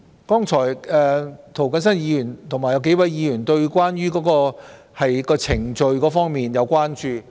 剛才涂謹申議員和幾位議員對程序會否被濫用表示關注。